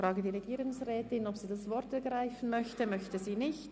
Die Regierungsrätin möchte das Wort nicht ergreifen.